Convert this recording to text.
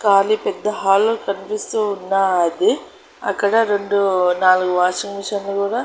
కానీ పెద్ద హాల్లో కనిపిస్తూ ఉన్నాది అక్కడ రెండు నాలుగు వాషింగ్ మిషన్ లు కూడా.